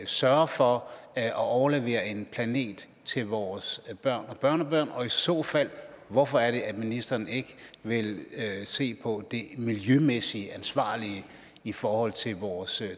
sørger for at overlevere en planet til vores børn og børnebørn og i så fald hvorfor er det at ministeren ikke vil se på det miljømæssigt ansvarlige i forhold til vores